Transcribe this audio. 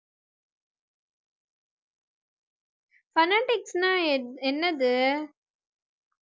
phonetics னா என்~ என்னது